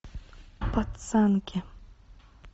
пацанки